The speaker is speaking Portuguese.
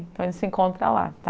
Então a gente se encontra lá.